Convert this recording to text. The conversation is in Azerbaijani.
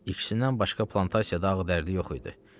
İkisindən başqa plantasiyada ağ dərili yox idi.